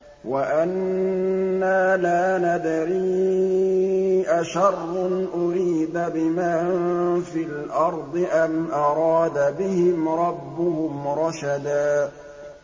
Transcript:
وَأَنَّا لَا نَدْرِي أَشَرٌّ أُرِيدَ بِمَن فِي الْأَرْضِ أَمْ أَرَادَ بِهِمْ رَبُّهُمْ رَشَدًا